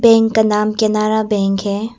Bank का नाम Canara bank है।